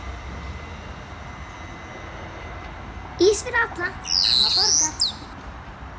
Ís fyrir alla, amma borgar